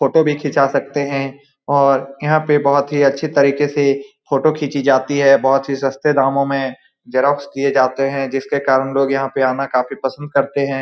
Photo भी खींचा सकते हैं और यहाँ पे बहोत ही अच्छी तरीके से फोटो खींची जाती है बहोत ही सस्ते दामों में जैरोक्स किए जाते हैं जिसके कारण लोग यहाँ पे आना काफी पसंद करते हैं।